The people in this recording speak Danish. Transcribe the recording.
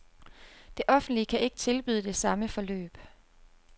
Det offentlige kan ikke tilbyde det samme forløb.